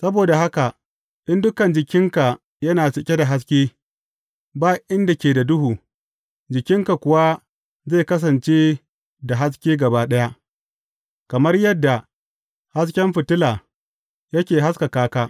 Saboda haka, in dukan jikinka yana cike da haske, ba inda ke da duhu, jikinka kuwa zai kasance da haske gaba ɗaya, kamar yadda hasken fitila yake haskaka ka.